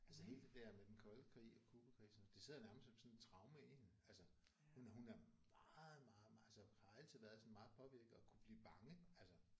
Altså hele det der med den kolde krig og Cubakrisen det sidder nærmest som sådan et traume i hende. Altså hun hun er meget meget meget altså har altid været sådan meget påvirket og kunne blive bange altså